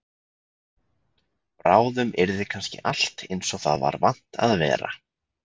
Bráðum yrði kannski allt eins og það var vant að vera.